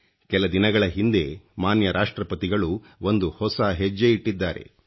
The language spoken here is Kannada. ಕೆಲ ದಿನಗಳ ಹಿಂದೆ ಮಾನ್ಯ ರಾಷ್ಟ್ರ್ರಪತಿಗಳು ಒಂದು ಹೊಸ ಹೆಜ್ಜೆ ಇಟ್ಟಿದ್ದಾರೆ